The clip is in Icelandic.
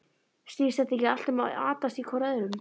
Snýst þetta ekki allt um að atast í hvor öðrum?